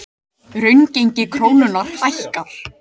Raungengi krónunnar hækkar